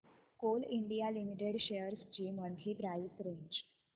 Coal India Limited shares ची monthly price range